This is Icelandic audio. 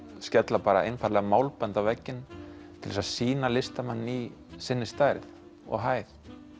skella bara einfaldlega málbandi á vegginn til þess að sýna listamanninn í sinni stærð og hæð